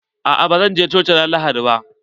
Aa ba zan je coci ran lahadi ba.